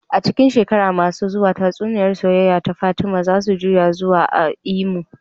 A cikin shekaru masu zuwa, tatsuniyar soyayya ta Fatima za su juya zukata a Imo.